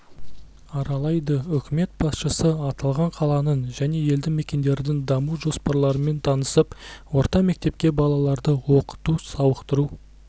аралайды үкімет басшысы аталған қаланың және елді мекендердің даму жоспарларымен танысып орта мектепке балаларды оқыту-сауықтыру